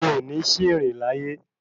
O ní ṣìrì láyé